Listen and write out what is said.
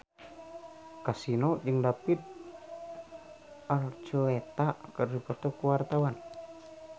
Kasino jeung David Archuletta keur dipoto ku wartawan